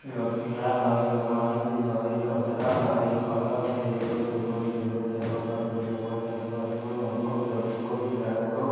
लड़कियाँ हई भगवानजी हई कपड़ा हई औरत हई एगो दुगो तीनगो चारगो पाँचगो छगो सातगो आठगो नोगो दसगो ग्याराहगो।